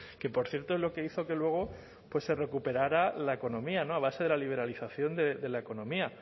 que por cierto es lo que hizo que luego pues se recuperara la economía no a base de la liberalización de la economía